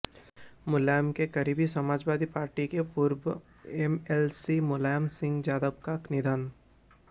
मुलायम के करीबी समाजवादी पार्टी के पूर्व एमएलसी मुलायम सिंह यादव का निधन